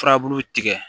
Furabulu tigɛ